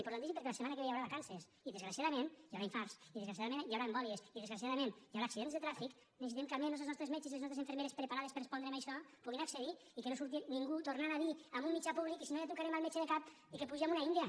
importantíssim perquè la setmana que ve hi haurà vacances i desgraciadament hi haurà infarts i desgraciadament hi haurà embòlies i desgraciadament hi haurà accidents de trànsit necessitem que almenys els nostres metges i les nostres infermeres preparades per a respondre a això hi puguin accedir i que no surti ningú tornant a dir en un mitjà públic i si no ja trucarem al metge de cap i que puge amb una india